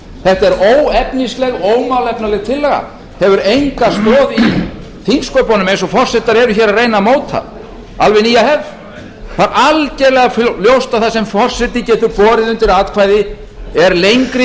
þetta er óefnisleg ómálefnaleg tillaga hefur enga stoð í þingsköpum eins og forsetar eru að reyna að móta alveg nýja hefð það er algerlega ljóst að það sem forseti getur borið undir atkvæði er lengri